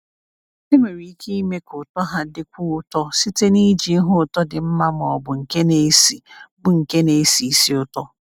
Enwere ike ime ka ụtọ ha dịkwuo ụtọ site n’iji ihe ụtọ dị mma ma ọ bụ nke na-esi bụ nke na-esi ísì ụtọ.